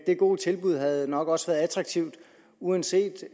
det gode tilbud havde nok også været attraktivt uanset